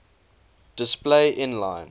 display inline